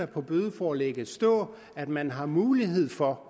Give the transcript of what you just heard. på bødeforlægget stå at man har mulighed for